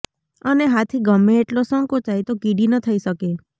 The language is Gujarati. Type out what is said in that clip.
અને હાથી ગમે એટલો સંકોચાય તો કીડી ન થઈ શકે